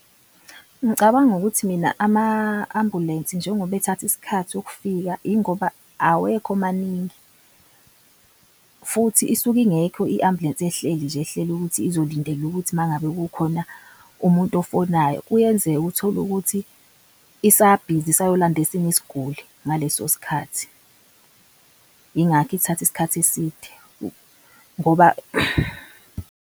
Ngicabanga ukuthi mina ama-ambulensi njengoba ethatha isikhathi ukufika ingoba awekho maningi futhi isuke ingekho i-ambulensi ehleli nje. Ehleli ukuthi izolindela ukuthi mangabe kukhona umuntu ofonayo. Kuyenzeka uthole ukuthi usabhizi isayolanda esinye isiguli ngaleso skhathi, ingakho ithatha iskhathi eside ngoba.